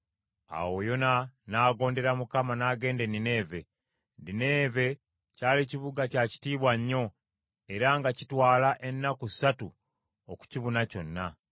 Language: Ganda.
Awo Yona n’agondera Mukama n’agenda e Nineeve. Nineeve kyali kibuga kya kitiibwa nnyo era nga kitwala ennaku ssatu okukibuna kyonna.